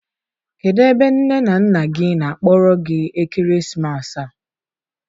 kedụ ebe nne na nna gị na-akpọrọ gị ekeresimesi a?